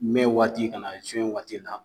Mɛ waati ka na juwe waati la